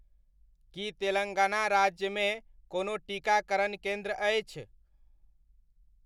की तेलङ्गाना राज्यमे कोनो टीकाकरण केन्द्र अछि?